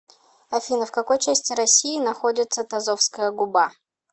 афина в какой части россии находится тазовская губа